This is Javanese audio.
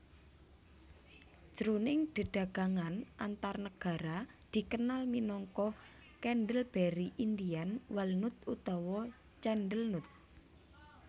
Jroning dedagangan antarnegara dikenal minangka candleberry Indian walnut utawa candlenut